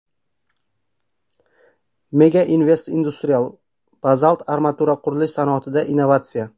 Mega Invest Industrial: Bazalt armatura – qurilish sanoatida innovatsiya.